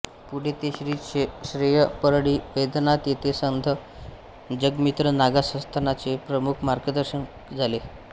पुढे ते श्री क्षेत्र परळी वैद्यनाथ येथे संथ जगमित्र नागा संस्थानचे प्रमुख मार्गदर्शक झाले